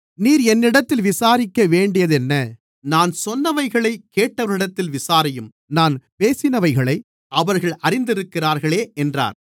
நீர் என்னிடத்தில் விசாரிக்க வேண்டியதென்ன நான் சொன்னவைகளைக் கேட்டவர்களிடத்தில் விசாரியும் நான் பேசினவைகளை அவர்கள் அறிந்திருக்கிறார்களே என்றார்